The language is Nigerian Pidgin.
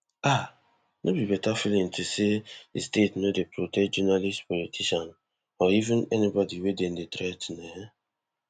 um no be better feeling to know say di state no dey protect journalists politicians or even anybodi wey dem dey threa ten um